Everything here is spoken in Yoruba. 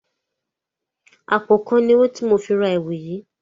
Àpòkan ni owó tí mo fi ra ẹ̀wu yìí